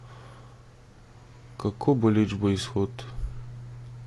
Kako boleč bo izhod?